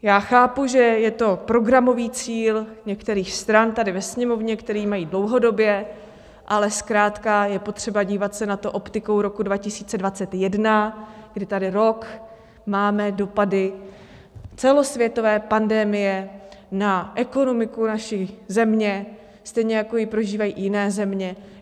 Já chápu, že je to programový cíl některých stran tady ve Sněmovně, který mají dlouhodobě, ale zkrátka je potřeba dívat se na to optikou roku 2021, kdy tady rok máme dopady celosvětové pandemie na ekonomiku naší země, stejně jako ji prožívají i jiné země.